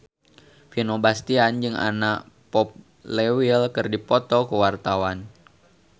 Vino Bastian jeung Anna Popplewell keur dipoto ku wartawan